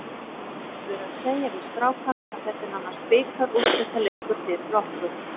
Ég hef verið að segja við strákana að þetta er nánast bikarúrslitaleikur fyrir okkur.